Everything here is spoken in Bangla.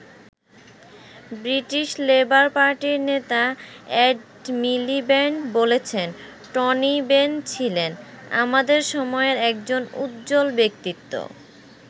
ব্রিটিশ লেবার পার্টির নেতা এড মিলিব্যান্ড বলেছেন টনি বেন ছিলেন "আমাদের সময়ের একজন উজ্জ্বল ব্যক্তিত্ব"।